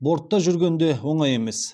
бортта жүрген де оңай емес